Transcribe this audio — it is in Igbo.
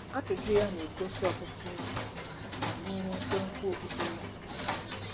Ajụjụ ya na-egosi ọtụtụ ihe banyere nkwenkwe okpukpe ya.